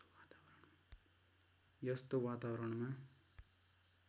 यस्तो वातावरणमा